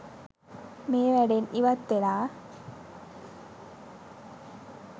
මේ වැඩෙන් ඉවත්වෙලා